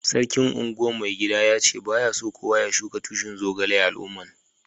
Sarkin Ungwan mai gida ya ce ba ya so kowa ya shuka tushin zogalai a'alumman.